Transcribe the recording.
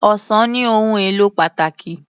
Ọsàn ní ohùn èlò pàtàkì.